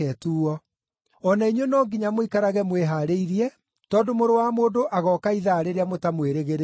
O na inyuĩ no nginya mũikarage mwĩhaarĩirie, tondũ Mũrũ wa Mũndũ agooka ithaa rĩrĩa mũtamwĩrĩgĩrĩire.”